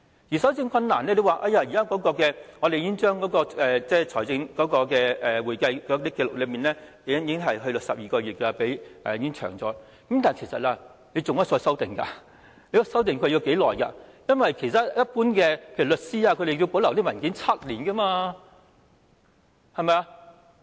在搜證困難方面，當局表示現時已將財政和會計紀錄的保留時間延長至12個月，雖然已經延長了，但其實當局仍可再修訂須保留文件的時間，因為其他一般行業，例如律師，須保留文件7年，對嗎？